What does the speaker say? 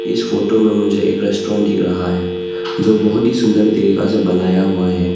इस फोटो में मुझे एक रेस्टोरेंट दिख रहा है जो बहोत ही सुंदर तरीका से बनाया हुआ है।